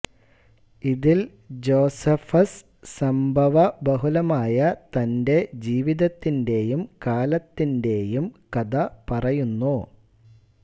ഇതിൽ ജോസെഫസ് സംഭവബഹുലമായ തന്റെ ജീവിതത്തിന്റേയും കാലത്തിന്റേയും കഥ പറയുന്നു